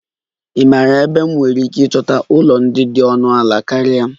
Ị maara ebe m nwere ike ịchọta ụlọ ndị dị ọnụ ala karịa?